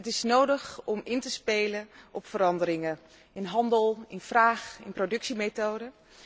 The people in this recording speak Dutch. Het is nodig om in te spelen op veranderingen in handel, in vraag, in productiemethoden.